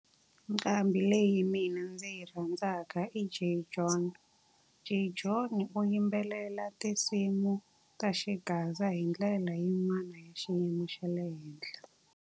Nnqambi leyi mina ndzi yi rhandzaka i Jay John. Jay John u yimbelela tinsimu ta xigaza hi ndlela yin'wana ya xiyimo xa le henhla.